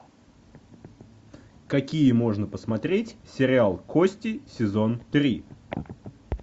какие можно посмотреть сериал кости сезон три